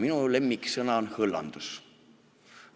Minu lemmiksõna on "hõllandus".